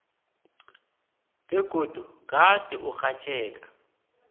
begodu gade urhatjheka